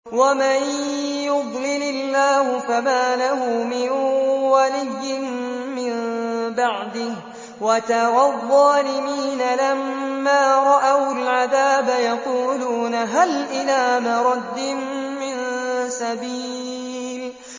وَمَن يُضْلِلِ اللَّهُ فَمَا لَهُ مِن وَلِيٍّ مِّن بَعْدِهِ ۗ وَتَرَى الظَّالِمِينَ لَمَّا رَأَوُا الْعَذَابَ يَقُولُونَ هَلْ إِلَىٰ مَرَدٍّ مِّن سَبِيلٍ